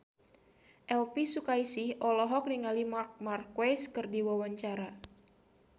Elvy Sukaesih olohok ningali Marc Marquez keur diwawancara